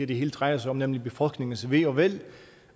det hele drejer sig om nemlig befolkningens ve og vel